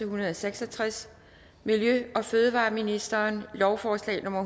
hundrede og seks og tres miljø og fødevareministeren lovforslag nummer